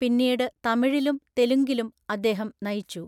പിന്നീട് തമിഴിലും തെലുങ്കിലും അദ്ദേഹം നയിച്ചു.